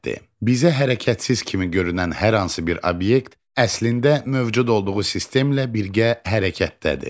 Bizə hərəkətsiz kimi görünən hər hansı bir obyekt əslində mövcud olduğu sistemlə birgə hərəkətdədir.